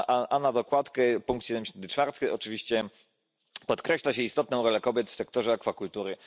A na dokładkę pkt. 74, oczywiście, podkreśla się istotną rolę kobiet w sektorze akwakultury.